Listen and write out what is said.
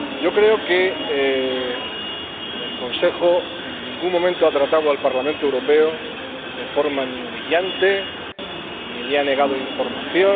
Creo que el Consejo en ningún momento ha tratado al Parlamento Europeo de forma humillante ni le ha negado información